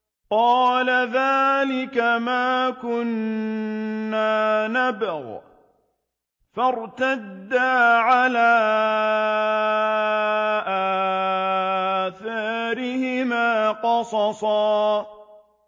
قَالَ ذَٰلِكَ مَا كُنَّا نَبْغِ ۚ فَارْتَدَّا عَلَىٰ آثَارِهِمَا قَصَصًا